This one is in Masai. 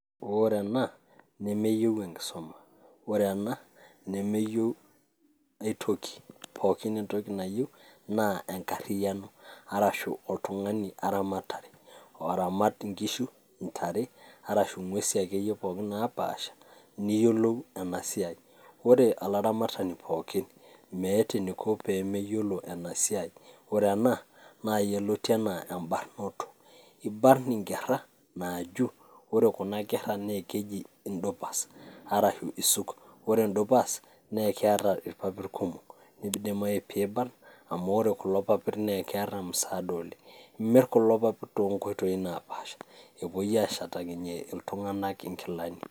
Ore ena nemeyieu enkisuma ,ore ena nemeyieu aitoki. pookin entoki nayieu naa enkariyano arashu oramat nkishu, ntare, arashu ngwesi akeyie pookin naapasha niyiolou ena siai ,ore olaramatani pookin meeta eneiko pemeyiolo enasiaai ,ore ena naa yioloti anaa embarnoto ,ibarn inkera naaju ore kuna kera na keji indupas arashu isuk ,ore ndupas naa keeta irpapit kumok idimai peibarn amu ore kulo papit naa keeta msaada oleng. imir kulo papit toonkoitoi naapasha, epui ashetakinye ltunganak nkilani.